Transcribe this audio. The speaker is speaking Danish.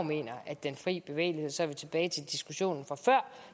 mener at den fri bevægelighed så er vi tilbage til diskussionen fra før